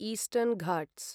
Eastern Ghats